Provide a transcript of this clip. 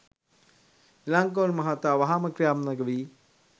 ඉලංගකෝන් මහතා වහාම ක්‍රියාත්මක වී